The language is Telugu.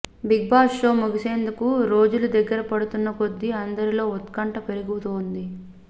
బిగ్బాస్ షో ముగిసేందుకు రోజులు దగ్గర పడుతున్న కొద్దీ అందరిలోనే ఉత్కంఠ పెరిగిపోతుంది